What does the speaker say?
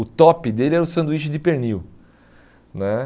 O top dele era o sanduíche de pernil né.